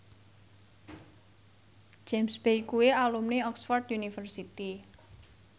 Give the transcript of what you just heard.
James Bay kuwi alumni Oxford university